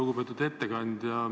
Lugupeetud ettekandja!